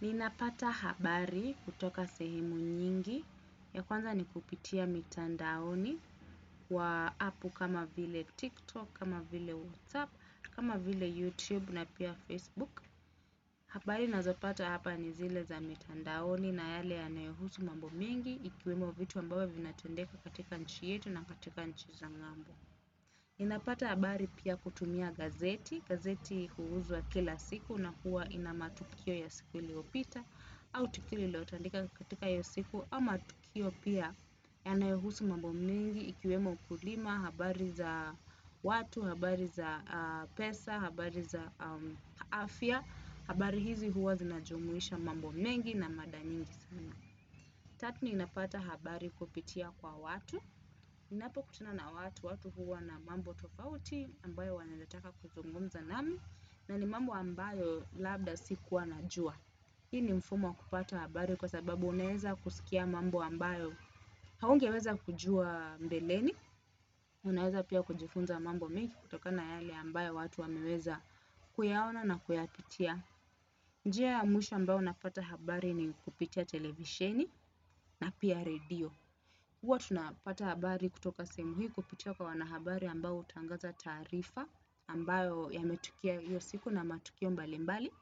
Ninapata habari kutoka sehemu nyingi ya kwanza ni kupitia mitandaoni wa app kama vile tiktok, kama vile whatsapp, kama vile youtube na pia facebook. Habari nazopata hapa ni zile za mitandaoni na yale yanayohusu mambo mengi ikiwemo vitu ambavyo vinatendeka katika nchi yetu na katika nchi za ngambo. Ninapata habari pia kutumia gazeti, gazeti huuzwa kila siku na huwa ina matukio ya siku iliyopita au tukio lililotendeka katika hiyo siku ama tukio pia yanayohusu mambo mengi ikiwemo ukulima, habari za watu, habari za pesa, habari za afya, habari hizi huwa zinajumuisha mambo mengi na mada nyingi sana. Tatu niinapata habari kupitia kwa watu, niinapo kutana na watu, watu huwa na mambo tofauti ambayo wanataka kuzungumza nami, na ni mambo ambayo labda sikuwa najua. Hii ni mfumo wa kupata habari kwa sababu unaeza kusikia mambo ambayo haungeweza kujua mbeleni, unaeza pia kujifunza mambo mengi kutokana yale ambayo watu wameweza kuyaona na kuyapitia. Nji ya mwisha ambayo napata habari ni kupitia televisheni na pia redio. Huwa tunapata habari kutoka sehemu hii kupitia kwa wanahabari ambao hutangaza taarifa ambayo yametukia hiyo siku na matukio mbali mbali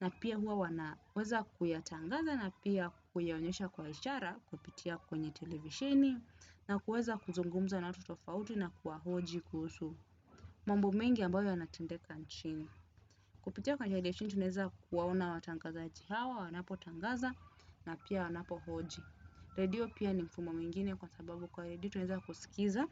na pia huwa wanaweza kuyatangaza na pia kuyaonyesha kwa ishara kupitia kwenye televisheni na kuweza kuzungumza na watu tofauti na kuwahoji kusu mambo mengi ambayo yanatendeka nchini kupitia kwa televisheni tunaeza kuwaona watangazaji hawa wanapo tangaza na pia wanapo hoji. Redio pia ni mfumo mwingine kwa sababu kwa redio tunaweza kusikiza.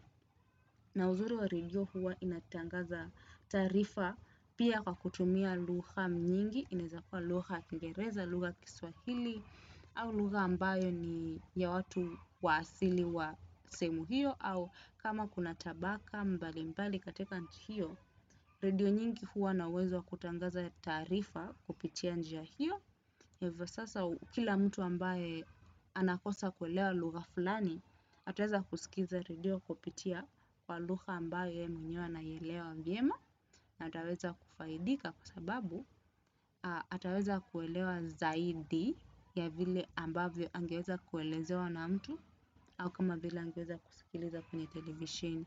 Na uzuri wa redio huwa inatangaza taarifa pia kwa kutumia lugha nyingi. Inaeza kuwa lugha kingereza, lugha ya kiswahili au lugha ambayo ni ya watu wa asili wa sehemu hio au kama kuna tabaka mbali mbali katika nchi hiyo redio nyingi huwa na uwezo wa kutangaza taarifa kupitia njia hiyo hivyo sasa kila mtu ambaye anakosa kuelewa lugha fulani ataweza kusikiza redio kupitia kwa lugha ambaye yeye mwenyewe anaielewa vyema na ataweza kufaidika kwa sababu ataweza kuelewa zaidi ya vile ambavyo angeweza kuelezewa na mtu au kama vile angeweza kusikiliza kwenye televisheni.